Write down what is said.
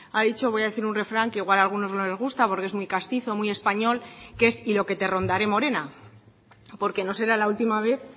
ha dicho voy a decir un refrán que igual a algunos no les gusta porque es muy castizo muy español que es y lo que te rondaré morena porque no será la última vez